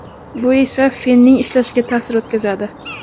Bu esa fenning ishlashiga ta’sir o‘tkazadi.